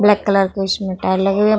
Black colour की इसमें tile लगी हुई है ।